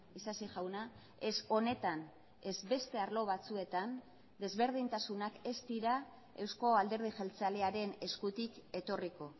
isasi jauna ez honetan ez beste arlo batzuetan desberdintasunak ez dira euzko alderdi jeltzalearen eskutik etorriko